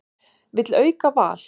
Vill auka val